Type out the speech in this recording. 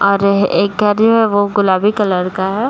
और एक गाड़ी है वो गुलाबी कलर का है ।